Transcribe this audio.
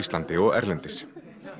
landi og erlendis